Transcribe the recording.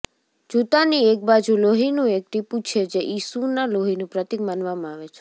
જૂતાની એક બાજુ લોહીનું એક ટીપું છે જે ઈસુના લોહીનું પ્રતીક માનવામાં આવે છે